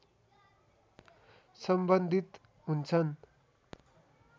सम्बन्धित हुन्छन्